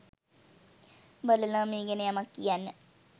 බලලා මේ ගැන යමක් කියන්න